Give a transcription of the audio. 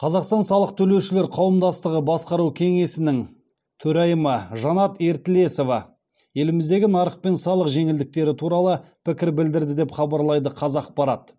қазақстан салық төлеушілер қауымдастығы басқару кеңесінің төрайымы жанат ертілесова еліміздегі нарық пен салық жеңілдіктері туралы пікір білдірді деп хабарлайды қазақпарат